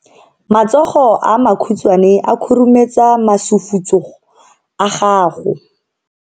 Matsogo a makhutshwane a khurumetsa masufutsogo a gago.